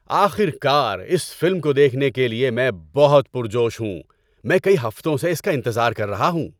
آخر کار اس فلم کو دیکھنے کے لیے میں بہت پرجوش ہوں! میں کئی ہفتوں سے اس کا انتظار کر رہا ہوں۔